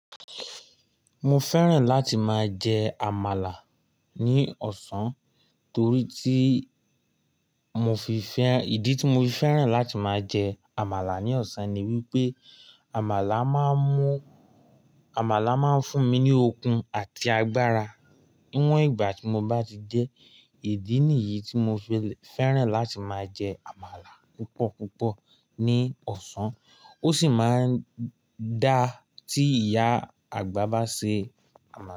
Mo fẹ́ràn láti máa jẹ àmàlà ní ọ̀sán torí tí mo fi fẹ́, ìdí tí mo fi fẹ́ràn láti máa jẹ àmàlà ní ọ̀sán ni wípé àmàlà máa ń mú, àmàlà máa ń fún mi ní okun àti agbára níwọ̀n ìgbà tí mo bá ti jẹ ẹ. Ìdí nìyí tí mo fi fẹ́ràn láti máa jẹ àmàlà púpọ̀ púpọ̀ ní ọ̀sán. Ó sì máa ń dáà tí ìyá àgbà bá ṣe àmàlà.